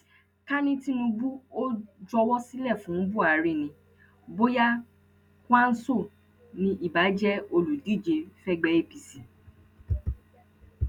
ká ní tinubu ò juwọ sílẹ fún buhari ni bóyá kwanso ni ibà jẹ olùdíje fẹgbẹ apc